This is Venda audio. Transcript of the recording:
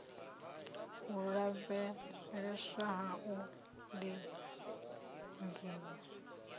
u lavheleswa na u lingiwa